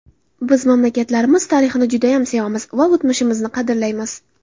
Biz mamlakatlarimiz tarixini judayam sevamiz va o‘tmishimizni qadrlaymiz.